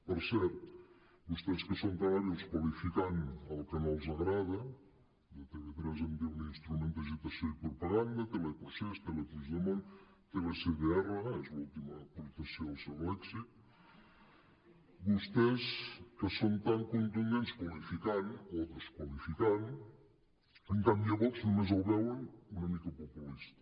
per cert vostès que són tan hàbils qualificant el que no els agrada de tv3 en diuen instrument d’agitació i propaganda teleprocés telepuigdemont telecdr és l’última aportació al seu lèxic tundents qualificant o desqualificant en canvi a vox només el veuen una mica populista